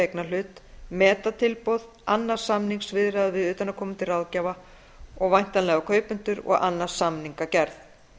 eignarhlut meta tilboð annast samningaviðræður við utanaðkomandi ráðgjafa og væntanlega kaupendur og annast samningagerð